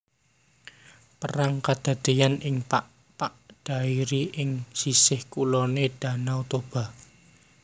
Perang kedadéyan ing Pakpak Dairi ing sisih kuloné Dhanau Toba